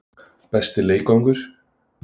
Besti leikvangur?